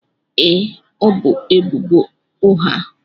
Ee, ọ bu ebubo ụgha.